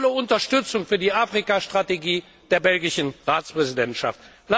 Deshalb volle Unterstützung für die Afrika Strategie der belgischen Ratspräsidentschaft.